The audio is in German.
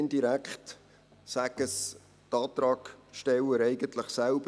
Indirekt sagen es die Antragsteller eigentlich selbst: